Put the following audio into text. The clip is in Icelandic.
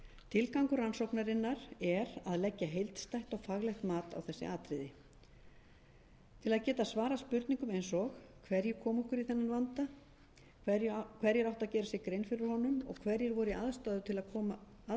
tilgangur rannsóknarinnar er að leggja heildstætt og faglegt mat á þessi atriði til að geta svarað spurningum eins og hverjir komu okkur í þennan vanda hverjir áttu að gera sér grein fyrir honum og hverjir voru í aðstöðu til að koma í veg